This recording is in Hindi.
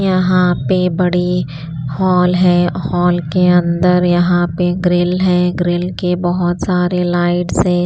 यहाँ पे बड़े हॉल है हॉल के अंदर यहाँ पे ग्रिल है ग्रिल के बहुत सारे लाइट्स है।